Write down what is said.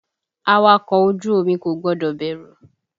Awakọ̀ ojú omi kò gbọ́dọ̀ bẹ̀rù!